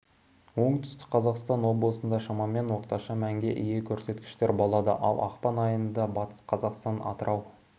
оңтүстік қазақстан облыстарында шамамен орташа мәнге ие көрсеткіштер болады ал ақпан айында батыс қазақстан атырау